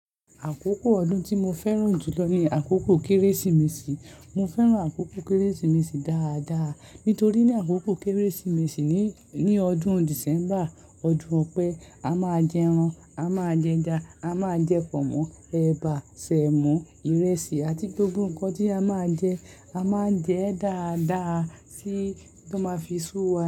Àkókò ọdún tí mo fẹ́ràn jùlọ ni àkókò Kérésìmesì. Mo fẹ́ràn àkókò Kérésìmesì dáadáa, nítorí ní àkókò Kérésìmesì ní, ní ọdún December, ọdún Ọpẹ́, a máa jẹ ẹran, a máa jẹ ẹja, a máa jẹ pọ̀nmọ́, ẹ̀bà, sẹ̀mọ́, ìrẹsì àti gbogbo nǹkan tí a máa jẹ, a máa jẹ dáadáa tí ó máa fi sú wa.